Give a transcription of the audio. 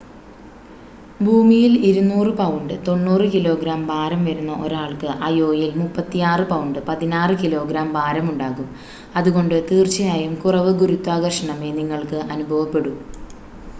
ഭൂമിയിൽ 200 pound 90 kilogram ഭാരം വരുന്ന ഒരാൾക്ക് അയോയിൽ 36 പൗണ്ട് 16 കിലോഗ്രാം ഭാരം ഉണ്ടാകും. അതുകൊണ്ട് തീർച്ചയായും കുറവ് ഗുരുത്വാകർഷണമേ നിങ്ങൾക്ക് അനുഭവപ്പെടൂ